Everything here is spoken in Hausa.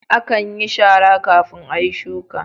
Akan yin shara kafin ayi shuka